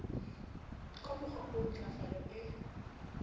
ka mokgowa oo ntlafalo e